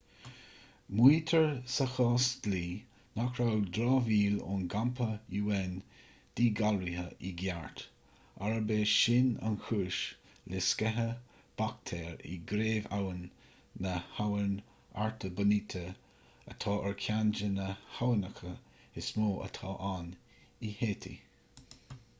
maítear sa chás dlí nach raibh dramhaíl ón gcampa un díghalraithe i gceart arb é sin an chúis le sceitheadh baictéar i gcraobh-abhainn na habhann artibonite atá ar cheann de na haibhneacha is mó atá ann in háítí